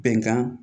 Bɛnkan